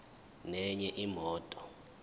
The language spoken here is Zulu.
nenye imoto